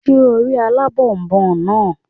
Ṣé o rí alábònboǹ náà?